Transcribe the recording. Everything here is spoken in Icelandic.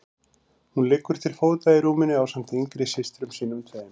Hún liggur til fóta í rúminu ásamt yngri systrum sínum tveim.